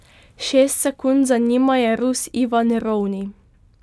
Šest sekund za njima je Rus Ivan Rovni.